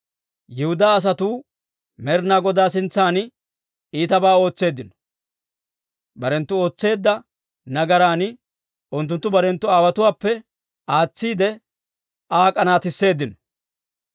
Yihudaa asatuu Med'inaa Godaa sintsan iitabaa ootseeddino; barenttu ootseedda nagaran unttunttu barenttu aawotuwaappe aatsiide Aa k'anaatisseeddino.